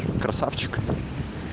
красавчик